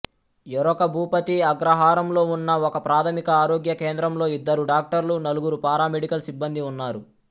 యెరకభూపతి అగ్రహారంలో ఉన్న ఒకప్రాథమిక ఆరోగ్య కేంద్రంలో ఇద్దరు డాక్టర్లు నలుగురు పారామెడికల్ సిబ్బందీ ఉన్నారు